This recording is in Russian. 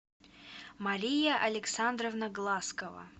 мария александровна глазкова